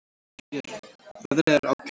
Björn: Veðrið er ágætt.